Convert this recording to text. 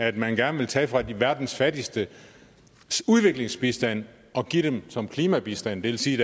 at man gerne vil tage fra verdens fattigstes udviklingsbistand og give den som klimabistand det vil sige